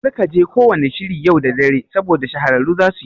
Kar kaje ko wanna shiri yau dare saboda shahararru zasuyi